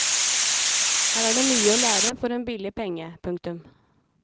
Her er det mye å lære for en billig penge. punktum